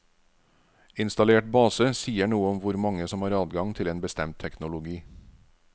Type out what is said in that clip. Installert base sier noe om hvor mange som har adgang til en bestemt teknologi.